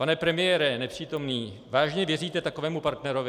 Pane premiére, nepřítomný, vážně věříte takovému partnerovi?